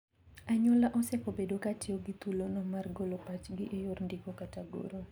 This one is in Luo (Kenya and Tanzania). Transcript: Anyuola osekobedo katiyo gi thulono mar golo pachgi e yor ndiko kata goro.